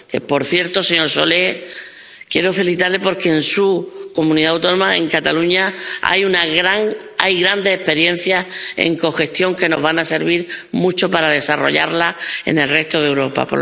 Por cierto, señor Solé, quiero felicitarle, porque en su comunidad autónoma, en Cataluña, hay grandes experiencias en cogestión que nos van a servir mucho para desarrollarla en el resto de Europa.